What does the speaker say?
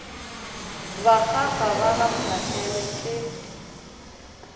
bakgaga ba ga mphahlele ke